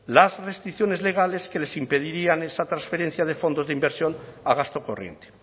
las restricciones legales que les impedirían esa transferencia de fondos de inversión a gasto corriente